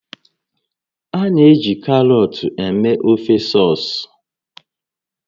A na-eji karọt eme ofe sọs